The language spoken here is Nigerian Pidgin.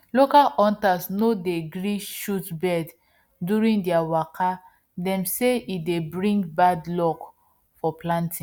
local hunters no dey gree shot birds during their waka dem say e dey bring bad luck for planting